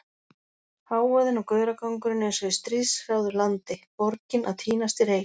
Hávaðinn og gauragangurinn eins og í stríðshrjáðu landi, borgin að týnast í reyk.